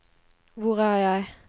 hvor er jeg